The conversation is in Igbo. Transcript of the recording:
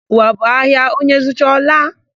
Ụwa bụ ahịa; onye zụcha, ọ laa.